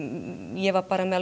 ég var bara með